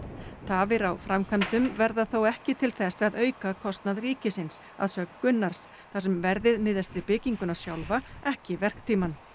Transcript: tafir á framkvæmdum verða þó ekki til þess að auka kostnað ríkisins að sögn Gunnars þar sem verðið miðast við bygginguna sjálfa ekki verktímann